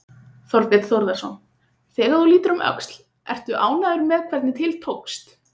Þorbjörn Þórðarson: Þegar þú lítur um öxl, ert þú ánægður með hvernig til tókst?